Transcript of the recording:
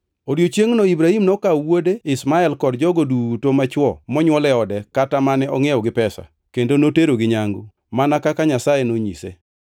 E odiechiengno Ibrahim nokawo wuode Ishmael kod jogo duto machwo monywol e ode kata mane ongʼiewo gi pesa, kendo noterogi nyangu, mana kaka Nyasaye nonyise.